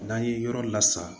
N'an ye yɔrɔ lasan